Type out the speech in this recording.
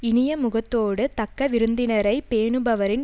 இனிய முகத்தோடு தக்க விருந்தினரை பேணுபவரின்